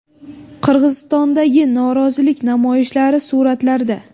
Qirg‘izistondagi norozilik namoyishlari suratlarda.